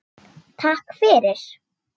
Takk fyrir